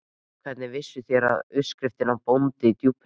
En hvernig vissuð þér, að undirskriftin er Bóndi í Djúpinu?